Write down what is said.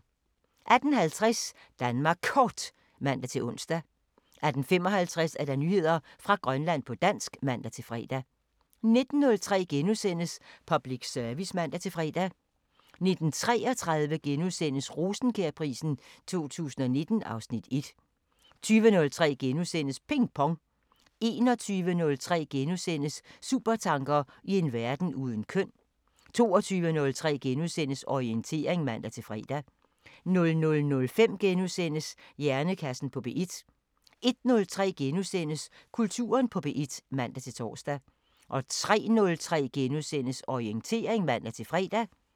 18:50: Danmark Kort (man-ons) 18:55: Nyheder fra Grønland på dansk (man-fre) 19:03: Public Service *(man-fre) 19:33: Rosenkjærprisen 2019 (Afs. 1)* 20:03: Ping Pong * 21:03: Supertanker: I en verden uden køn * 22:03: Orientering *(man-fre) 00:05: Hjernekassen på P1 * 01:03: Kulturen på P1 *(man-tor) 03:03: Orientering *(man-fre)